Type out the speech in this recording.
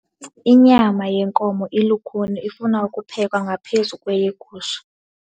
Inyama yenkomo ilukhuni ifuna ukuphekwa ngaphezu kweyegusha.